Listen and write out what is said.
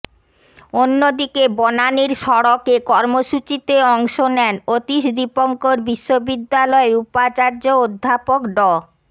অন্য দিকে বনানীর সড়কে কর্মসূচিতে অংশ নেন অতীশ দীপঙ্কর বিশ্ববিদ্যালয়ের উপাচার্য অধ্যাপক ড